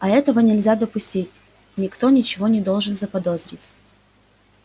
а этого нельзя допустить никто ничего не должен заподозрить